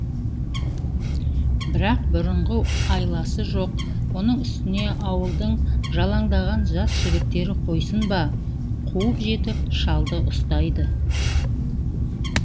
бірақ бұрынғы айласы жоқ оның үстіне ауылдың жалаңдаған жас жігіттері қойсын ба қуып жетіп шалды ұстайды